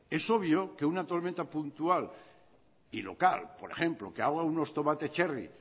es obvio que una tormenta puntual y local por ejemplo que ahoga unos tomates cherry